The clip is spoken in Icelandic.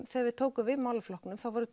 þegar við tókum við málaflokknum þá voru